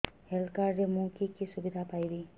health card ରେ ମୁଁ କି କି ସୁବିଧା ପାଇବି